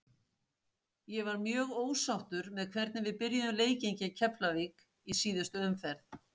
Ég var mjög ósáttur með hvernig við byrjuðum leikinn gegn Keflavík í síðustu umferð.